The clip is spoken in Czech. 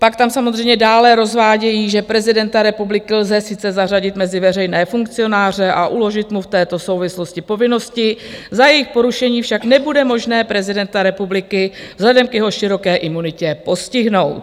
Pak tam samozřejmě dále rozvádějí, že prezidenta republiky lze sice zařadit mezi veřejné funkcionáře a uložit mu v této souvislosti povinnosti, za jejich porušení však nebude možné prezidenta republiky vzhledem k jeho široké imunitě postihnout.